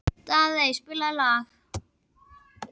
Daðey, spilaðu lag.